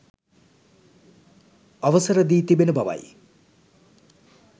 අවසර දී තිබෙන බවයි